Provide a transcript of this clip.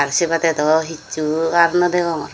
sebadey daw hissu ar naw degongor.